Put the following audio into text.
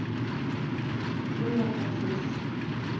laugardagsins